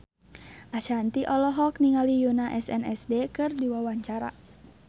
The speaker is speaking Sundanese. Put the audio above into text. Ashanti olohok ningali Yoona SNSD keur diwawancara